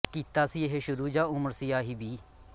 ਕੀਤਾ ਸੀ ਇਹ ਸ਼ੁਰੂ ਜਾਂ ਉਮਰ ਸੀ ਆਹੀਵੀਹ